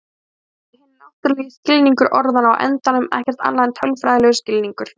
Hugsanlega er hinn náttúrulegi skilningur orðanna á endanum ekkert annað en tölfræðilegur skilningur.